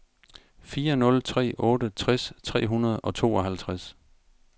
fire nul tre otte tres tre hundrede og tooghalvtreds